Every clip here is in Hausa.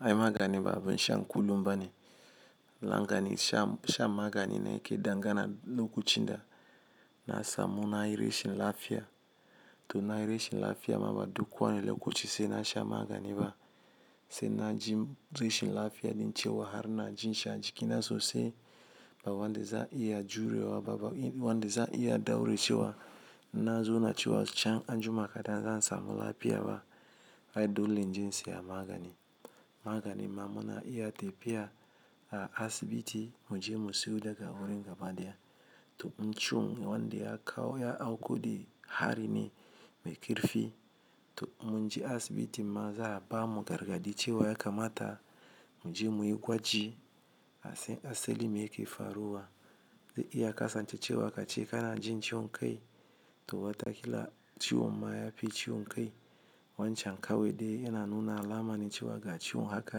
Ai magani ba abun sha kullum bane. Lokacin shan magani na yake dangana lokacin da na samu nayi rashin lafiya to nayi rashin lafiya ma ba duk wani lokaci saina sha magani ba. Sai naji rashin lafiya din cewa har najishi a jikina sosai ba wanda za'a iya jurewa ba, wanda za'a iya daure cewa nazo na cewa can anjima kaɗan zan samu lafiya ba. Ai dole inje in saya magani. Magani ma muna iya tafiya a asibiti muje mu siyo daga wurin gaba daya. To in ciwon wanda ya kawo ya auku da hari ne mai karfi to munje asibitima za'a bamu gargaɗi cewa ya kamata muje muyi gwaji asan asali me yake faruwa. Zai iya kasance cewa kaje kana jin ciwon kai to watakila ciwon ma yafi ciwon kai. Wancan kawai dai yana nuna alamane cewa ga ciwon haka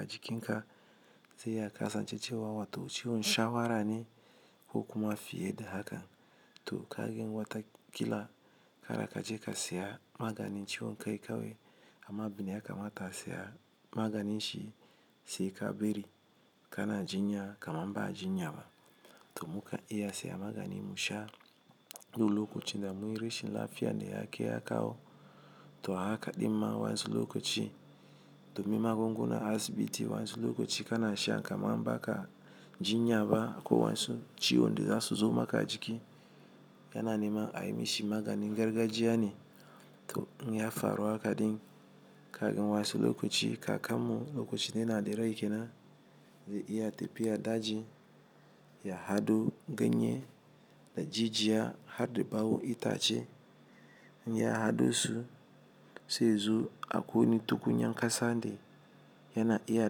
a jikinka, saiya kasance cewa wato ciwon shawarane ko kuma fiye da haka. To kagen watakila kara kaje ka saya maganin ciwon kai kawai amma abine ya kamata a saya maganinshi sai ka bari kana jinya kamar ba jinyaba. To muka iya saya maganin musha ko lokacinda munyi rashin lafiya ne yakai ya kawo. To haka ɗinma wayansu lokaci domin magungunan asibiti wayansu lokaci kanasha kamar baka jinya ko wayansu ciwonda zasu zo maka jiki. Yana neman ayi mishi maganin gargajiya ne. Inya faru hakadin, kagen wayansu lokaci kakammu lokacin yanada rai kenan zai iya tafiya daji ya haɗo ganye da jijiya hadda ɓawo itace. Inya haɗosu zaizo a ƙwai wani tukunyan ƙasa de yana iya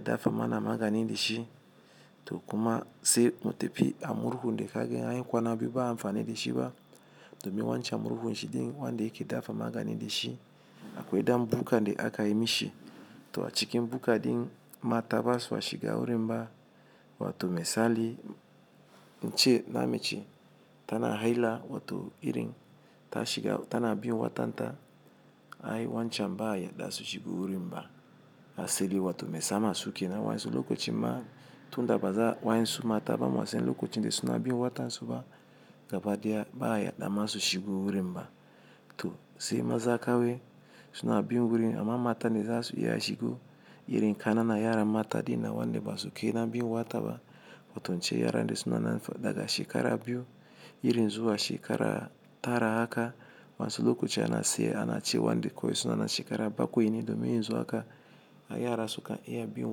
dafa mana maganin dashi. To kuma saimu tafi a murhu de kagen anyi kwana biyu ba'a anfani shiba. Domin wancan murhun shi ɗin wanda yake dafa maganin dashi, a kwai dan bukkande akayi mishi. To a cikin bukka ɗin mata basa a shiga wurinba wato misali, ince na mace tana haila wato irin ta shiga tana bin watanta ai wancan ba'a yadda su shiga wurinba asali wato me sama suke na wansu lokaci ma tunda baza'a wayansu mata bamasan lokacinde suna bin wata suba gabadaya ba'a yaddama su shigo wurinba. To sai maza kawai sunabin wurin amma matane zasu iya shigo irin kananan yaran mata ɗinnan wanda basu kai nabin wataba wato ince yara de sunanan daga shekara biyu irin zuwa shekara tara haka wayansu lokaci ana sai anace wanda kowai sunanan shekara bakwai ne domin yanzu haka a yara suka iya bin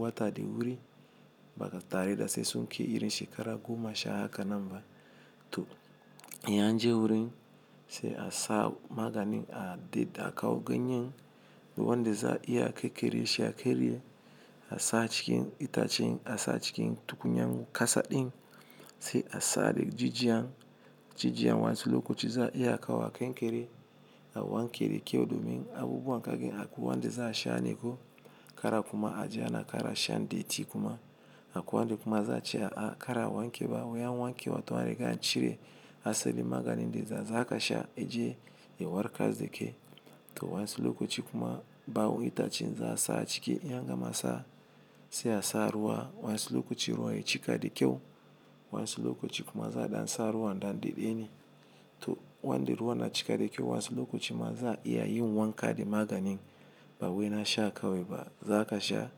wata da wuri. Batare da sai sun ke irin shekara goma sha hakanan ba. To in anje wurin sai a sa maganin a daɗe a kawo ganyen wanda za'a iya a kere shi a kere a sa cikin itacen a sa cikin tukunyan ƙasa ɗin sai a sa da jijiya. Jijiya wayansu lokaci za'a iya a kawo a kankere a wanke da kyau domin abubuwa kagen akwai wanda za'a shaneko kar kuma aje ana kara sha deti kuma akwai wanda kuma za'a cewa a kara wankewa in an wanke wato an riga an cire asalin maganin da za a zaka sha aje ya warkar dake. To wayansu lokaci kuma ɓawon itacen za'a sa a ciki in angama sa sai a sa ruwa wayansu lokaci ruwa ya cika da kyau wayansu lokaci kuma za'a ɗansa ruwan ɗan dedene. To wanda ruwa na cika da kyau wansu lokaci ma za'a iya yin wanka da maganin bawai nasha kawai ba za kasha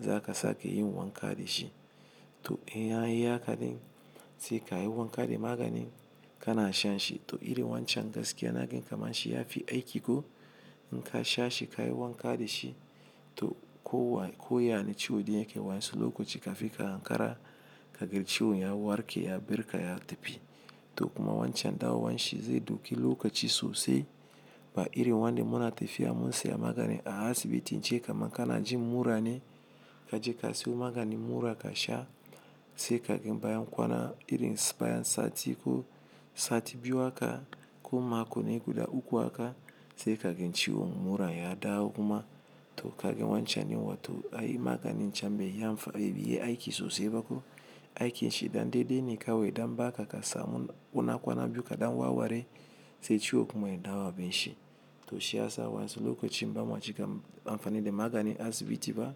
zaka sake yin wanka dashi. To in anyi haka ɗin sai kayi wanka da maganin kana shanshi to irin wancan gaskiya nagan kamarshi yafi aiki ko in kasha shi kayi wanka dashi to ko wane ciwo da yake wayansu lokaci kafinka hankara kagan ciwon ya warke ya barka ya tafi. To kuma wancan dawowanshi zai dauki lokaci sosai, ba irin wanda muna tafiya munsiya magani a asibiti je kaman kanajin murane kaje ka siyo maganin mura kasha sai kagen bayan kwana irinsa bayan sati ko sati biyu haka ko mako ne guda uku haka sai kagen ciwon mura ya dawo kuma. To kaga wancen din wato ai maganin can beyi amfani beyi aiki sosaibako, aikinshi dan dedene kawai yadan baka kasamu kwana biyu kadan warware sai ciwo kuma ya dawo abunshi to shiyasa wayansu lokacin bama cika amfani da maganin asibiti ba.